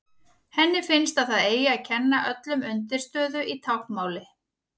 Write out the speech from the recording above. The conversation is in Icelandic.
Henni finnst að það eigi að kenna öllum undirstöðu í táknmáli.